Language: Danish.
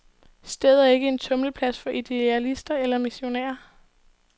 Stedet er ikke en tumleplads for idealister eller missionærer.